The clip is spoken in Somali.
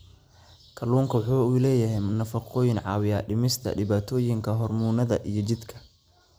Kalluunku waxa uu leeyahay nafaqooyin caawiya dhimista dhibaatooyinka hormoonnada ee jidhka.